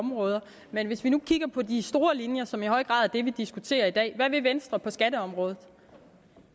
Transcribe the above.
områder men vi kan kigge på de store linjer som i høj grad er dem vi diskuterer i dag hvad vil venstre på skatteområdet